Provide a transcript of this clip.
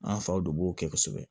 An faw de b'o kɛ kosɛbɛ